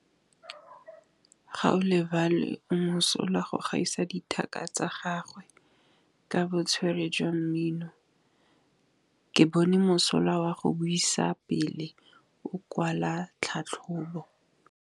Gaolebalwe o mosola go gaisa dithaka tsa gagwe ka botswerere jwa mmino. Ke bone mosola wa go buisa pele o kwala tlhatlhobô.